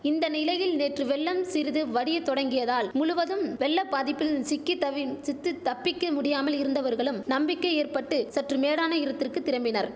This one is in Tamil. இந்த நிலையில் நேற்று வெள்ளம் சிறிது வடிய துவங்கியதால் முழுவதும் வெள்ள பாதிப்பில் சிக்கி தவிம் சித்துத் தப்பிக்க முடியாமல் இருந்தவர்களுக்கு நம்பிக்கை ஏற்பட்டு சற்று மேடான இர்த்திற்கு திரம்பினர்